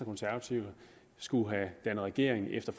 konservative skulle have dannet regering efter